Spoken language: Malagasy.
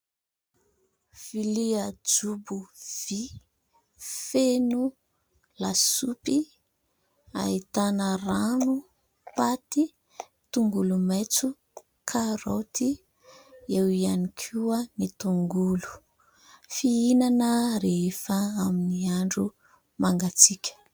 Vilia jobo vy feno lasopy ahitana rano, paty, tongolo maitso, karaoty eo ihany koa ny tongolo fihinana rehefa amin'ny andro mangatsiaka.